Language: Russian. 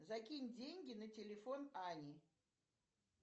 закинь деньги на телефон ане